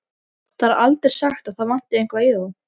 Það er aldrei sagt að það vanti eitthvað í þá.